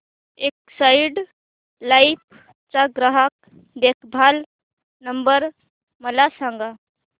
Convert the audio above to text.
Exide Life चा ग्राहक देखभाल नंबर मला सांगा